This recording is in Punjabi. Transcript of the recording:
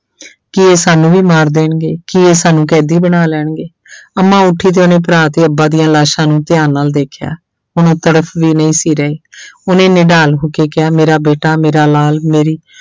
ਕੀ ਇਹ ਸਾਨੂੰ ਵੀ ਮਾਰ ਦੇਣਗੇ, ਕੀ ਇਹ ਸਾਨੂੰ ਕੈਦੀ ਬਣਾ ਲੈਣਗੇ ਅੰਮਾ ਉੱਠੀ ਤੇ ਉਹਨੇ ਭਰਾ ਤੇ ਅੱਬਾ ਦੀਆਂ ਲਾਸ਼ਾਂ ਨੂੰ ਧਿਆਨ ਨਾਲ ਵੇਖਿਆ, ਹੁਣ ਉਹ ਤੜਫ਼ ਵੀ ਨਹੀਂ ਸੀ ਰਹੇ ਉਹਨੇ ਨਿਡਾਲ ਹੋ ਕੇ ਕਿਹਾ ਮੇਰਾ ਬੇਟਾ ਮੇਰਾ ਲਾਲ ਮੇਰੀ